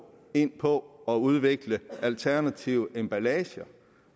ind på at udvikle alternative emballager